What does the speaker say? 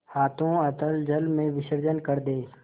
हाथों अतल जल में विसर्जन कर दे